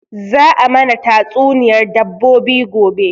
Za a mana tatsuniyar dabbobi gobe